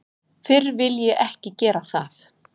Fyrr vil ég ekki gera það.